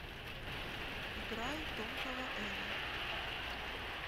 играй тонкого эла